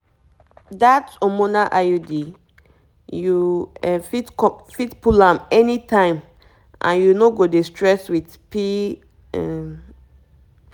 that hormonal iud you um fit fit pull am anytime and you no go dey stress with um